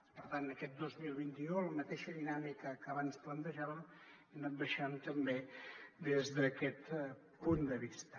per tant aquest dos mil vint u la mateixa dinàmica que abans plantejàvem ha anat baixant també des d’aquest punt de vista